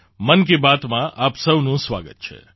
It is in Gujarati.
મન કી બાતમાં આપ સહુનું સ્વાગત છે